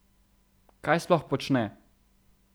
Kaj sploh počne?